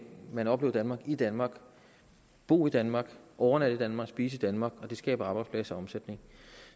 man opleve danmark i danmark bo i danmark overnatte i danmark spise i danmark og det skaber arbejdspladser og omsætning